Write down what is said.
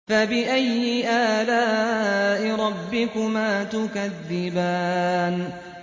فَبِأَيِّ آلَاءِ رَبِّكُمَا تُكَذِّبَانِ